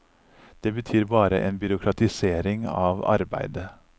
Det betyr bare en byråkratisering av arbeidet.